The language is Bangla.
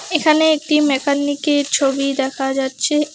এখানে একটি মেকানিকের ছবি দেখা যাচ্ছে।